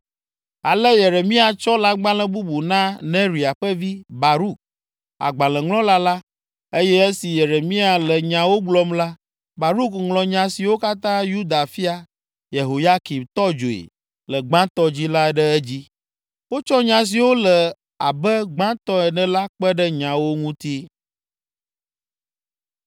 Ale Yeremia tsɔ lãgbalẽ bubu na Neria ƒe vi, Baruk, agbalẽŋlɔla la, eye esi Yeremia le nyawo gblɔm la, Baruk ŋlɔ nya siwo katã Yuda fia, Yehoyakim tɔ dzoe le gbãtɔ dzi la ɖe edzi. Wotsɔ nya siwo le abe gbãtɔ ene la kpe ɖe nyawo ŋuti.